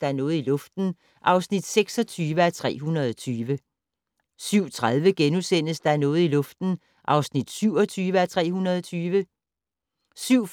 Der er noget i luften (26:320)* 07:30: Der er noget i luften (27:320)* 07:55: Der er noget i luften (28:320)* 08:20: